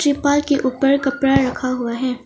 तिरपाल के ऊपर कपड़ा रखा हुआ है।